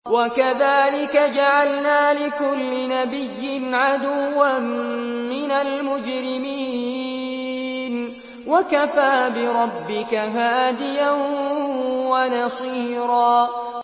وَكَذَٰلِكَ جَعَلْنَا لِكُلِّ نَبِيٍّ عَدُوًّا مِّنَ الْمُجْرِمِينَ ۗ وَكَفَىٰ بِرَبِّكَ هَادِيًا وَنَصِيرًا